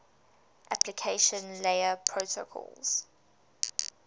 application layer protocols